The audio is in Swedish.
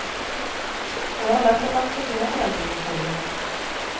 Och jag har lätt att acceptera förändringar, säger hon.